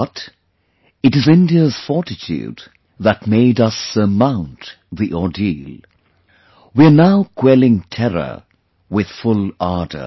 But it is India's fortitude that made us surmount the ordeal; we are now quelling terror with full ardor